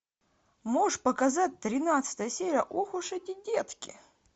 можешь показать тринадцатая серия ох уж эти детки